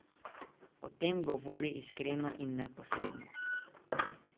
O tem govori iskreno in neposredno.